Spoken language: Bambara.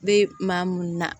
Be maa mun na